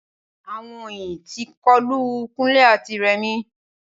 Awon oyin ti kolu Kunle ati Remi